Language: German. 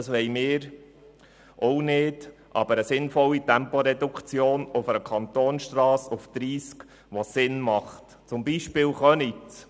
Das wollen wir auch nicht, aber eine sinnvolle Temporeduktion auf einer Kantonsstrasse auf Tempo 30, wo es Sinn macht, wie zum Beispiel in Köniz.